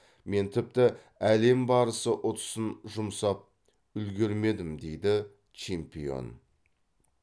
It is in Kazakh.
мен тіпті әлем барысы ұтысын жұмсап үлгермедім дейді чемпион